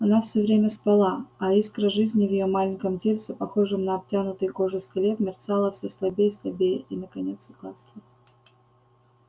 она все время спала а искра жизни в её маленьком тельце похожем на обтянутый кожей скелет мерцала все слабее и слабее и наконец угасла